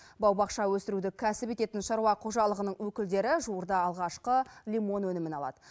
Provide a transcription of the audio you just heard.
бау бақша өсіруді кәсіп ететін шаруа қожалығының өкілдері жуырда алғашқы лимон өнімін алады